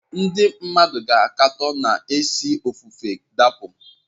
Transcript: Ndị mmadụ ga-akatọ n’ezi ofufe dapụ.